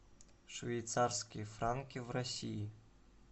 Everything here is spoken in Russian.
швейцарские франки в россии